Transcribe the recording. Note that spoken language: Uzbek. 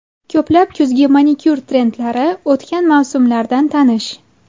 Ko‘plab kuzgi manikyur trendlari o‘tgan mavsumlardan tanish.